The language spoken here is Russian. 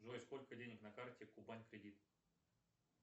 джой сколько денег на карте кубань кредит